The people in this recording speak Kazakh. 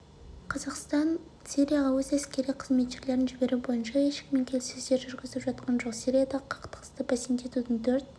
қазақстан сирияға өз әскери қызметшілерін жіберу бойынша ешкіммен келіссөздер жүргізіп жатқан жоқ сириядағы қақтығысты бәсеңдетудің төрт